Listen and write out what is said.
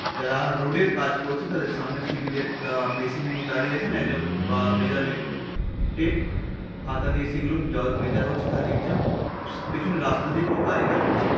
যারা রোড -এর কাজ করছেন তাদের সামনে সিভিল -এর আহ মেশিন নিয়ে দাড়িয়ে আছেন একজন বা মেজারমেন্ট টেপ খাতা নিয়ে সেগুলো যা মেজার হচ্ছে তা লিখছে পেছনে রাস্তা দিয়ে কিছু গাড়িঘোড়া চলছে।